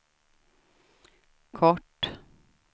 kort